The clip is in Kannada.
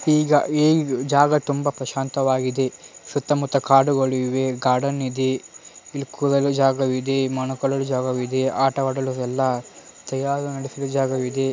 ಈಗ ಈ ಜಾಗ ತುಂಬಾ ಪ್ರಶಾಂತ ವಾಗಿದೆ ಸುತ್ತ ಮುತ್ತ ಕಾಡುಗಳು ಇವೆ ಗಾರ್ಡನ್ ಇದೆ ಇಲ್ಲಿ ಕೂಡಾಲು ಜಾಗ ಇದೆ ಮೇಲುಕೊಳ್ಳೂ ಜಾಗ ಇದೆ ಆಟ ಆಡಲು ಜಾಗವಿದೆ .